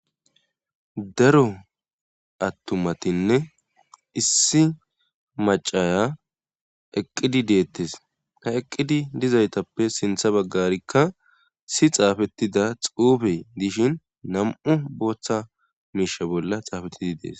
Daro attumatinne issi macaya eqqidi deettes ha eqqidi dizaytappe sintha baggarikka si xaafetida xuufe dishin nam'u booththa miisha bolla xaafettidi dees.